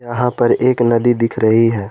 यहां पर एक नदी दिख रही है।